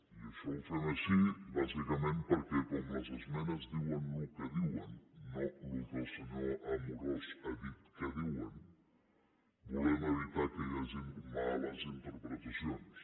i això ho fem així bàsicament perquè com les esmenes diuen el que diuen no el que el senyor amorós ha dit que diuen volem evitar que hi hagin males interpretacions